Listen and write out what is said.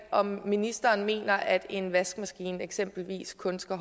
om ministeren mener at en vaskemaskine eksempelvis kun skal